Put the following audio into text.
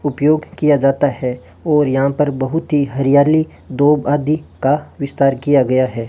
उपयोग किया जाता है और यहां पर बहुत ही हरियाली दो बादी का विस्तार किया गया है।